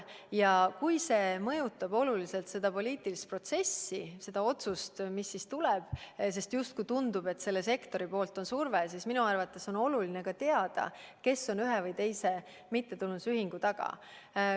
Ja kui see mõjutab oluliselt seda poliitilist protsessi, seda otsust, mis tuleb, sest justkui tundub, et selle sektori poolt on surve, siis minu arvates on oluline ikkagi teada, kes ühe või teise mittetulundusühingu taga on.